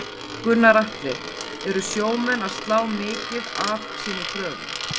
Gunnar Atli: Eru sjómenn að slá mikið af sínum kröfum?